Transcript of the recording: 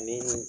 Ani